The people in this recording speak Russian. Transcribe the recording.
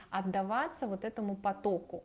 отдаваться вот этому потоку